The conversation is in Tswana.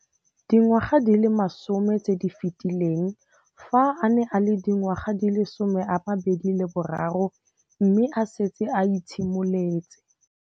Dingwaga di le 10 tse di fetileng, fa a ne a le dingwaga di le 23 mme a setse a itshimoletse.